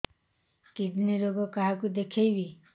kidney ରୋଗ କାହାକୁ ଦେଖେଇବି